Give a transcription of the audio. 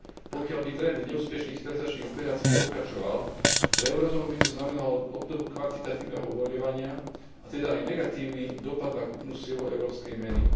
Pokiaľ by trend neúspešných sterilizačných operácií pokračoval, pre eurozónu by to znamenalo obdobu kvantitatívneho uvoľňovania, a teda aj negatívny dopad na kúpnu silu európskej meny.